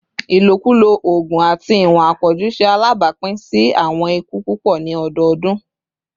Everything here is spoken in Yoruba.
ilokulo oogun ati iwọn apọju ṣe alabapin si awọn iku pupọ ni ọdọọdun